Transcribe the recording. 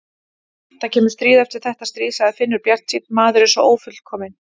Það kemur stríð eftir þetta stríð, sagði Finnur bjartsýnn, maðurinn er svo ófullkominn.